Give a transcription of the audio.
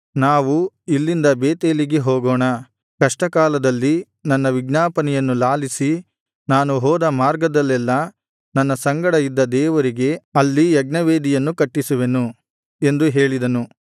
ನಾವು ಇಲ್ಲಿಂದ ಬೇತೇಲಿಗೆ ಹೋಗೋಣ ಕಷ್ಟಕಾಲದಲ್ಲಿ ನನ್ನ ವಿಜ್ಞಾಪನೆಯನ್ನು ಲಾಲಿಸಿ ನಾನು ಹೋದ ಮಾರ್ಗದಲ್ಲೆಲ್ಲಾ ನನ್ನ ಸಂಗಡ ಇದ್ದ ದೇವರಿಗೆ ಅಲ್ಲಿ ಯಜ್ಞವೇದಿಯನ್ನು ಕಟ್ಟಿಸುತ್ತೇನೆ ಎಂದು ಹೇಳಿದನು